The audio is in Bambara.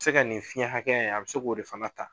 Se ka nin fiɲɛ hakɛya in , a bi se k'o de fana ta.